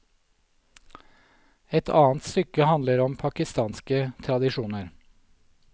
Et annet stykke handler om pakistanske tradisjoner.